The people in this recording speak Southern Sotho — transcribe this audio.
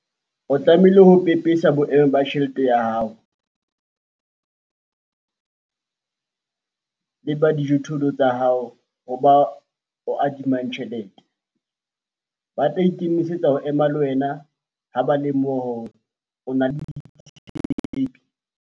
O tlamehile ho pepesa boemo ba tjhelete ya hao le ba dijothollo tsa hao ho ba o adimang tjhelete - Ba tla ikemisetsa ho ema le wena ha ba lemoha hore o na le botshepehi.